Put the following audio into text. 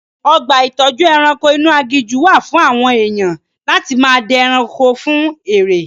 Ọgbà ìtọ́jú ẹranko inú aginjù wà fún àwọn èèyan láti máa dẹ ẹranko fún eré.